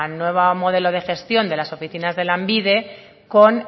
nuevo modelo de gestión de las oficinas de lanbide con